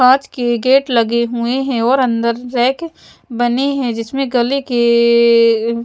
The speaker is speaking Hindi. कांच के गेट लगे हुए हैं और अंदर रैक बने हैं जिसमें गले के--